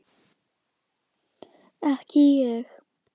Ekki ég!